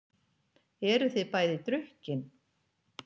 Eruð þið bæði drukkin?